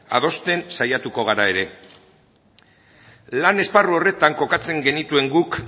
adosten saiatuko gara ere lan esparru horretan kokatzen genituen guk